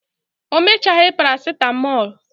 o mechaghi paracetmol